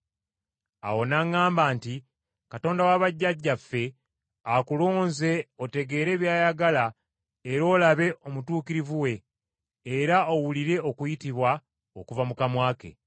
“Awo n’aŋŋamba nti, ‘Katonda wa bajjajjaffe akulonze otegeere by’ayagala era olabe Omutuukirivu we, era owulire okuyitibwa okuva mu kamwa ke.